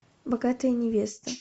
богатая невеста